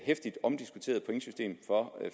heftigt omdiskuterede pointsystem for